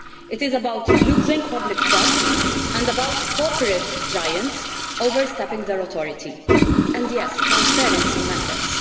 It is about losing public trust and about corporate giants overstepping their authority and yes, transparency matters.